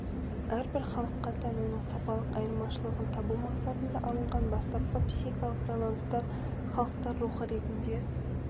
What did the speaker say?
әрбір халыққа тән оның сапалық айырмашылығын табу мақсатында алынған бастапқы психикалық байланыстар халықтар рухы ретінде